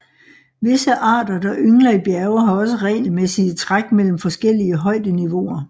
Visse arter der yngler i bjerge har også regelmæssige træk mellem forskellige højdeniveauer